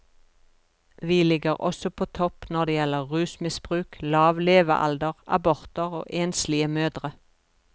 Vi ligger også på topp når det gjelder rusmisbruk, lav levealder, aborter og enslige mødre.